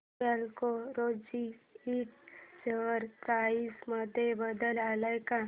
black Rose Ind share price मध्ये बदल आलाय का